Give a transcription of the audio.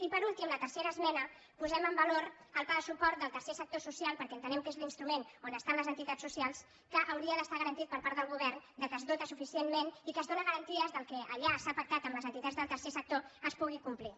i per últim a la tercera esmena posem en valor el pla de suport del tercer sector social perquè entenem que és l’instrument on estan les entitats socials que hauria d’estar garantit per part del govern que es dota sufici·entment i que es donen garanties que el que allà s’ha pactat amb les entitats del tercer sector es pugui com·plir